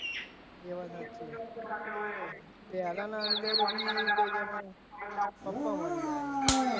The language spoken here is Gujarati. એ વાત સાચી પેલાના અંદર પછી પપ્પા મરી જાય છે.